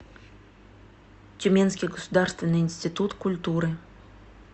тюменский государственный институт культуры